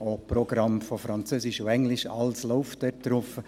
Auch Programme von Französisch und Englisch, alles läuft dort drauf.